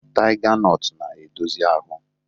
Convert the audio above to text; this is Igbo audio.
Taiga nọtu na-edozi ahụ.